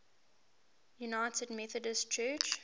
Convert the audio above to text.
united methodist church